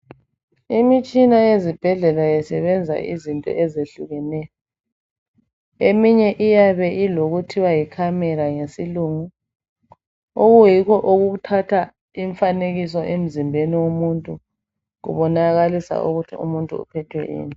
Imitshina yezibhedlela isebenza izinto ezehlukeneyo. Eminye iyabe ilokuthiwa yicamera ngesilungu okuyikho okuthatha imfanekiso emzimbeni womuntu kubonakalisa ukuthi umuntu uphethwe yini.